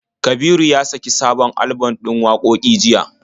Kabiru ya saki sabon alban ɗin wakoki jiya.